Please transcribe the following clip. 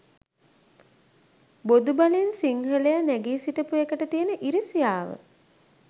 බොදු බලෙන් සිංහලය නැගීසිටපු එකට තියෙන ඉරිසියාව